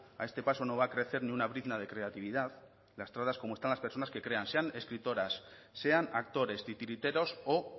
a este paso no va a crecer ni una brizna de creatividad lastradas como están las personas que crean sean escritoras sean actores titiriteros o